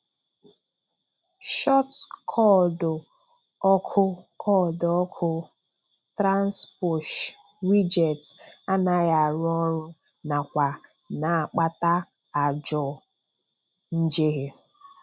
Short koodu òkù koodu òkù Transposh wijetị anaghị arụ ọrụ nakwa na-akpata ajọ njehie –